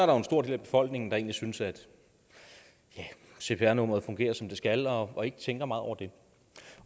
jo en stor del af befolkningen der egentlig synes at cpr nummeret fungerer som det skal og og ikke tænker meget over det